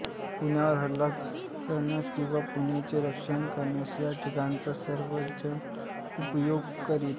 पुण्यावर हल्ला करण्यास किंवा पुण्याचे रक्षणास या ठिकाणचा सर्वचजण उपयोग करीत